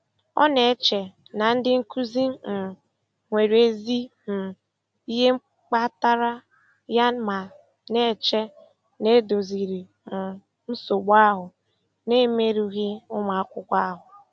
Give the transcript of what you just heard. Ọ na-eche na ndị nkuzi um nwere ezi um ihe kpatara ya ma na-eche na e doziri um nsogbu ahụ na-emerụghị ụmụakwụkwọ ahụ.